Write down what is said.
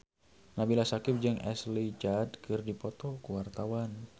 Nabila Syakieb jeung Ashley Judd keur dipoto ku wartawan